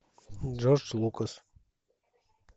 джордж лукас